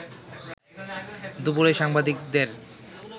দুপুরে সাংবাদিকদের